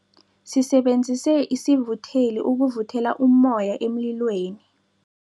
Sisebenzise isivutheli ukuvuthela ummoya emlilweni.